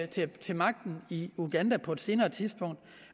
til til magten i uganda på et senere tidspunkt